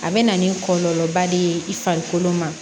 A bɛ na ni kɔlɔlɔba de ye i farikolo ma